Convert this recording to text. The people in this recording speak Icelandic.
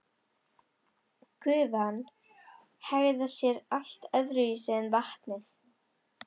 Gufan hegðar sér allt öðruvísi en vatnið.